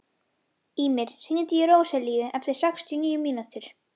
Ýmir, hringdu í Róselíu eftir sextíu og níu mínútur.